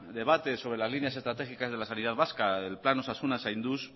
debate sobre las líneas estratégicas de la sanidad vasca el plan osasuna zainduz